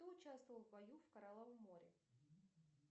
кто участвовал в бою в коралловом море